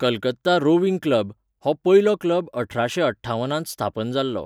Calcutta rowing club, हो पयलो club अठराशें अठ्ठावनांत स्थापन जाल्लो.